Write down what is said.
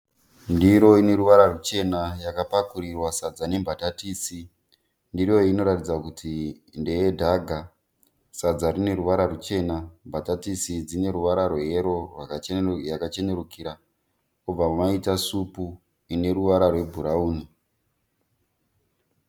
Ndiro ine ruvara ruchena yakapakurirwa sadza nembatatisi. Ndiro iyi inoratidza kuti ndeye dhaga. Sadza rine ruvara ruchena, mbatatisi dzine ruvara rweyero yakachenurikira, pobva maita supu ineruvara rwebhurauni.